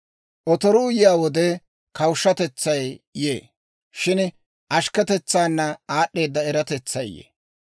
Otoruu yiyaa wode kawushshatetsay yee; shin ashkketetsaana aad'd'eeda eratetsay yee.